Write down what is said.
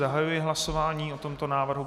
Zahajuji hlasování o tomto návrhu.